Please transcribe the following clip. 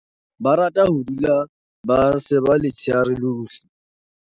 Ba rata ho dula ba seba letsheare lohle.